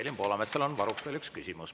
Evelin Poolametsal on varuks veel üks küsimus.